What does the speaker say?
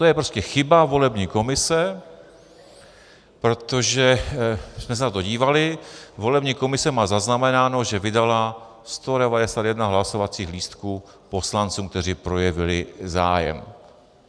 To je prostě chyba volební komise, protože jsme se na to dívali - volební komise má zaznamenáno, že vydala 191 hlasovacích lístků poslancům, kteří projevili zájem.